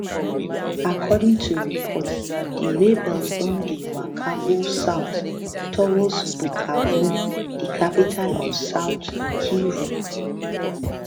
according to reports di rebels don dey waka go south towards bukavu di capital of south kivu